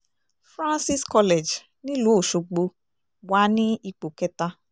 francis college nílùú ọ̀ṣọ́gbó wa ní ipò kẹta